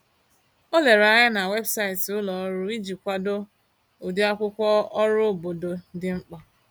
O lere anya na webụsaịtị ulọọrụ iji kwado ụdịakwụkwọ ọrụ obodo dị mkpa.